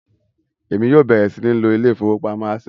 Èmi yóò bẹrẹ sìn ló ilé ìfowópamọ́ Access.